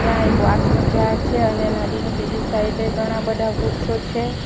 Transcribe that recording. ત્યાં એક વાસનું ઝાડ છે અને નદી ની પેલી સાઈડ એ ઘણા બધા વૃક્ષો છે.